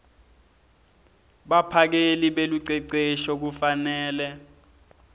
baphakeli belucecesho kufanele